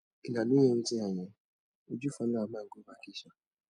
una no hear wetin i hear uju follow her man go vacation